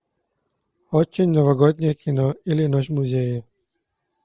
очень новогоднее кино или ночь в музее